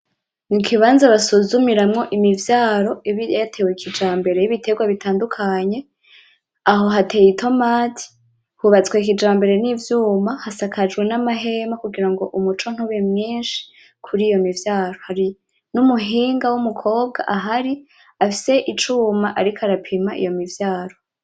Mu kibanza basuzumiramwo imivyaro iba yatewe kijambere yibiterwa bitandukanye aho hateye itomati hubatswe kijambere n'ivyuma hasakajwe n’amahema kugira umuco ntube mwishi kuriyo mivyaro hari n'umuhinga w’umukobwa ahari afise icuma ariko arapima iyo mivyaro.